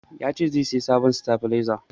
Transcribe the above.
Ya ce zai sayi sabon stabalaiza.